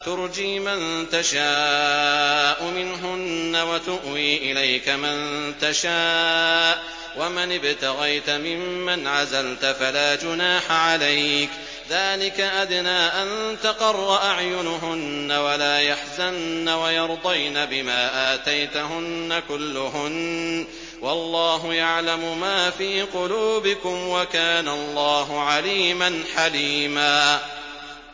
۞ تُرْجِي مَن تَشَاءُ مِنْهُنَّ وَتُؤْوِي إِلَيْكَ مَن تَشَاءُ ۖ وَمَنِ ابْتَغَيْتَ مِمَّنْ عَزَلْتَ فَلَا جُنَاحَ عَلَيْكَ ۚ ذَٰلِكَ أَدْنَىٰ أَن تَقَرَّ أَعْيُنُهُنَّ وَلَا يَحْزَنَّ وَيَرْضَيْنَ بِمَا آتَيْتَهُنَّ كُلُّهُنَّ ۚ وَاللَّهُ يَعْلَمُ مَا فِي قُلُوبِكُمْ ۚ وَكَانَ اللَّهُ عَلِيمًا حَلِيمًا